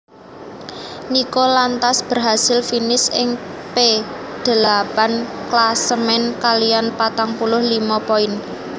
Nico lantas berhasil finish ing P delapan klasemen kaliyan patang puluh limo poin